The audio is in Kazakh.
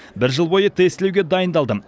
бір жыл бойы тестілеуге дайындалдым